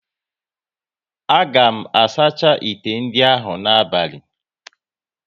A ga m asacha ite ndị ahụ n'abali